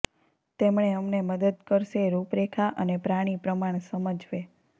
તેમણે અમને મદદ કરશે રૂપરેખા અને પ્રાણી પ્રમાણ સમજવે